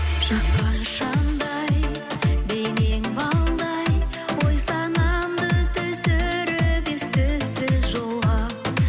жаққан шамдай бейнең балдай ой санамды түсіріп ес түссіз жолға